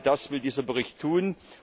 Genau das will dieser Bericht tun.